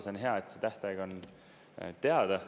See on hea, et see tähtaeg on teada.